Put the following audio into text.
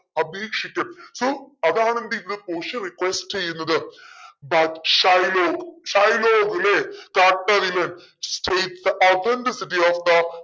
അപേക്ഷിക്കാൻ so അതാണ് എന്തെയ്യുന്നെ പോഷിയ request ചെയ്യുന്നത്. that Shylock ഷൈലോക്കിനെ